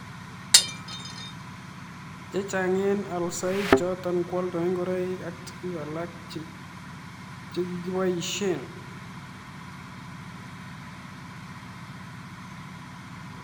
Chechang eng alsoik chotok kwoldoi ngoroik ak tukuk alak chekikoboishe.